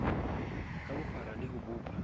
ka bophara le ho bopa